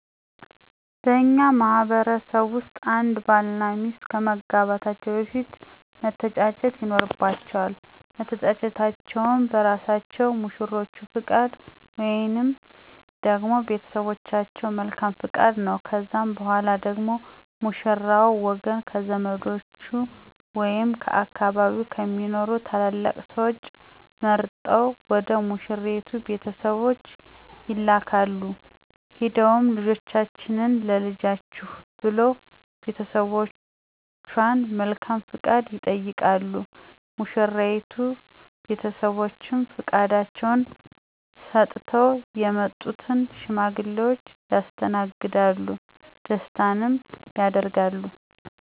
በእኛ ማህበረሰብ ውስጥ አንድ ባል እና ሚስት ከመጋባታቸው በፊት መተጫጨት ይኖርባቸዋል። መተጫጨታቸውም በእራሳቸው በሙሽሮቹ ፈቃድ ወይንም ደግሞ በቤተሰቦቻቸው መልካም ፈቃድ ነው። ከዛም በኋላ ደግሞ የሙሽራው ወገን ከዘመዶቹ ወይም ከአካባቢው ከሚኖሩ ትላላቅ ስዎች መርጠው ወደ ሙሽራይቱ ቤተሰቦች ይላካሉ፤ ሄደውም ልጃችንን ለልጃችሁ ብለው የቤተሰቦቿን መልካም ፈቃድ ይጠይቃሉ። የሙሽራይቱ ቤተሰቦችም ፈቃዳቸውን ሰጥተው የመጡትን ሽማግሌዎች ያስተናግዳሉ ደስታንም ያደርጋሉ።